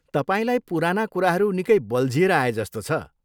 तपाईँलाई पुराना कुराहरू निकै बल्झिएर आएजस्तो छ।